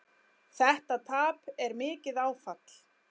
Þetta tap er mikið áfall.